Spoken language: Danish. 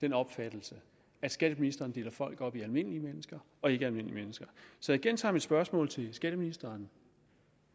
den opfattelse at skatteministeren deler folk op i almindelige mennesker og ikke almindelige mennesker så jeg gentager mit spørgsmål til skatteministeren